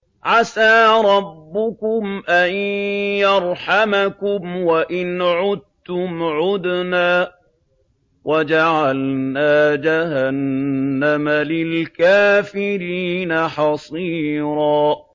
عَسَىٰ رَبُّكُمْ أَن يَرْحَمَكُمْ ۚ وَإِنْ عُدتُّمْ عُدْنَا ۘ وَجَعَلْنَا جَهَنَّمَ لِلْكَافِرِينَ حَصِيرًا